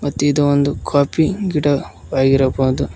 ಇದು ಒಂದು ಕಾಫಿ ಗಿಡ ಆಗಿರಬಹುದು.